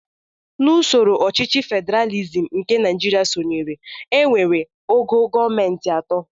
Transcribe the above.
N'usoro ọchịchị federalizim nke Naijiria sonyere, e nwere ogo gọọmenti atọ